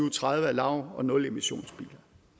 og tredive er lav og nulemissionsbiler